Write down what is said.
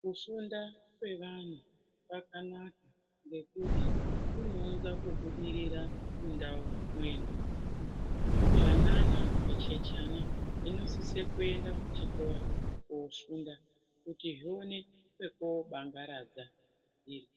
Kufunda kweanhu kwakanaka ngekuti kunounza kubudirira mundau mwedu, zvanana, zvichechana zvinosise kuenda kuchikora kofunda kuti zvione pekoobangaradza zviri,